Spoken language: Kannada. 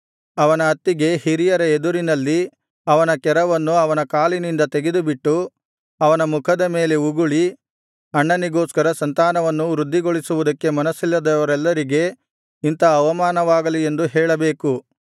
ಅವನ ಅತ್ತಿಗೆ ಹಿರಿಯರ ಎದುರಿನಲ್ಲಿ ಅವನ ಕೆರವನ್ನು ಅವನ ಕಾಲಿನಿಂದ ತೆಗೆದುಬಿಟ್ಟು ಅವನ ಮುಖದ ಮೇಲೆ ಉಗುಳಿ ಅಣ್ಣನಿಗೋಸ್ಕರ ಸಂತಾನವನ್ನು ವೃದ್ಧಿಗೊಳಿಸುವುದಕ್ಕೆ ಮನಸ್ಸಿಲ್ಲದವರೆಲ್ಲರಿಗೆ ಇಂಥ ಅವಮಾನವಾಗಲಿ ಎಂದು ಹೇಳಬೇಕು